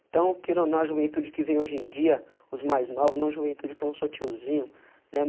Então, queira ou não, a juventude que vem hoje em dia, os mais novos, não a juventude que eu não sou tiozinho, né.